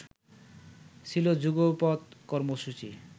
ছিলো যুগপৎ কর্মসূচি